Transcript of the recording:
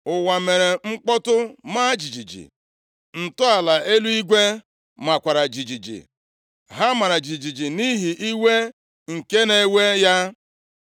Ụwa mere mkpọtụ maa jijiji, ntọala eluigwe makwara jijiji, ha mara jijiji nʼihi iwe nke na-ewe ya.